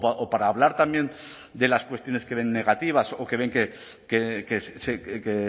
o para hablar también de las cuestiones que ven negativas o que ven que